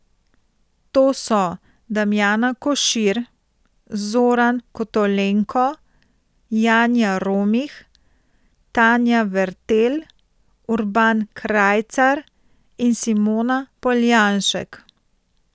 To so Damjana Košir, Zoran Kotolenko, Janja Romih, Tanja Vertelj, Urban Krajcar in Simona Poljanšek.